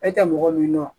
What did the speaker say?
E tɛ mɔgɔ min nɔ